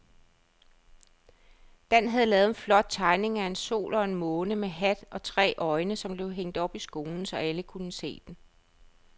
Dan havde lavet en flot tegning af en sol og en måne med hat og tre øjne, som blev hængt op i skolen, så alle kunne se den.